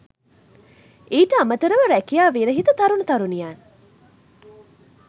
ඊට අමතරව රැකියා විරහිත තරුණ තරුණියන්